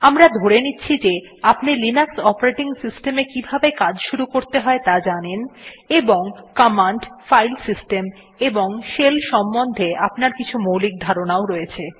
আমরা ধরে নিচ্ছি যে আপনি লিনাক্স অপারেটিং সিস্টেম এ কিভাবে কাজ শুরু করতে হয় ত়া জানেন এবং কমান্ড ফাইল সিস্টেম এবং শেলের সম্বন্ধে আপনার কিছু মৌলিক ধারনাও রয়েছে